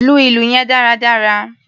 Lu ìlù yẹn dáradára!